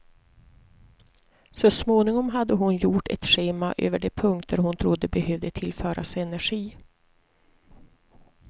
Så småningom hade hon gjort ett schema över de punkter hon trodde behövde tillföras energi.